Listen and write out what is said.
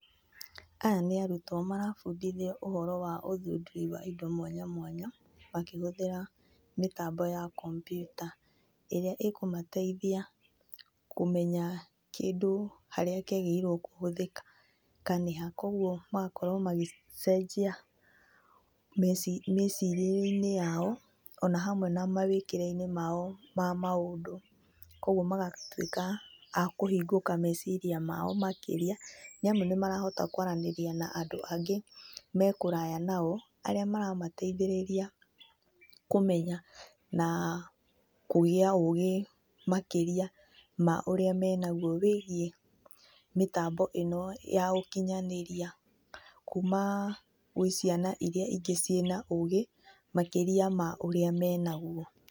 Aya nĩ arutwo marabundithio ũhoro wa ũthundũri wa indo mwanya mwanya makĩhũthĩra mĩtambo ya kompyuta ĩrĩa ĩkũmateithia kũmenya kĩndũ harĩa kĩagĩrĩirwo kũhũthĩka, nĩ ha. Kogwo magakorwo magĩcenjia mĩcirĩrie-inĩ yao ona hamwe na mawĩkĩre-inĩ mao ma maũndũ. Kogwo magatwĩka a kũhingũka meciria mao makĩria nĩ amu nĩ marahota kwaranĩria na andũ angĩ me kũraya nao, arĩa maramateithĩrĩria kũmenya na kũgĩa ũgĩ makĩria ma ũrĩa menagwo wĩgiĩ mĩtambo ĩno ya ũkinyanĩria kuuma gwĩ ciana iria ingĩ ciĩna ũgĩ makĩria ma ũrĩa menagwo.